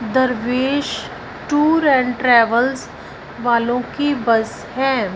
दरवेश tour and travels वालों की बस है।